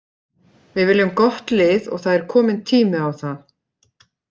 Við viljum gott lið og það er kominn tími á það.